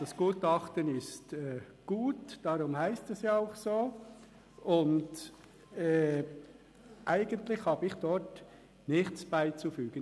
Das Gutachten ist gut, darum heisst es ja auch so, und eigentlich habe ich dem nichts beizufügen.